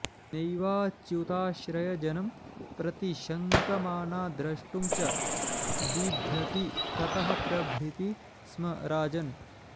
नैवाच्युताश्रयजनं प्रतिशङ्कमाना द्रष्टुं च बिभ्यति ततः प्रभृति स्म राजन्